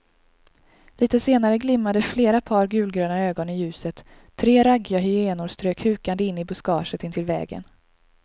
Litet senare glimmade flera par gulgröna ögon i ljuset, tre raggiga hyenor strök hukande in i buskaget intill vägen.